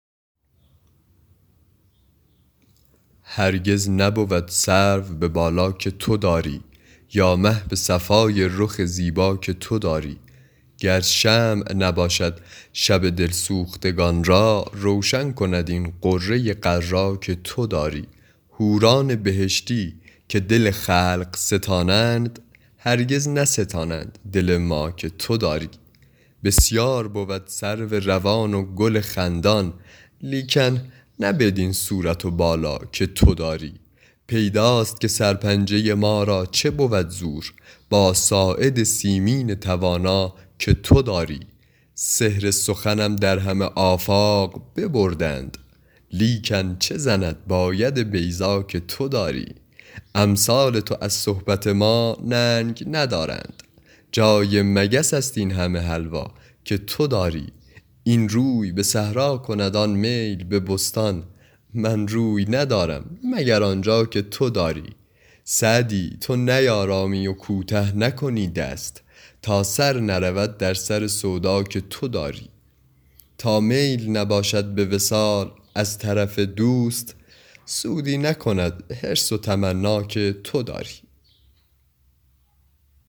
هرگز نبود سرو به بالا که تو داری یا مه به صفای رخ زیبا که تو داری گر شمع نباشد شب دل سوختگان را روشن کند این غره غر‍ ا که تو داری حوران بهشتی که دل خلق ستانند هرگز نستانند دل ما که تو داری بسیار بود سرو روان و گل خندان لیکن نه بدین صورت و بالا که تو داری پیداست که سرپنجه ما را چه بود زور با ساعد سیمین توانا که تو داری سحر سخنم در همه آفاق ببردند لیکن چه زند با ید بیضا که تو داری امثال تو از صحبت ما ننگ ندارند جای مگس است این همه حلوا که تو داری این روی به صحرا کند آن میل به بستان من روی ندارم مگر آن جا که تو داری سعدی تو نیآرامی و کوته نکنی دست تا سر نرود در سر سودا که تو داری تا میل نباشد به وصال از طرف دوست سودی نکند حرص و تمنا که تو داری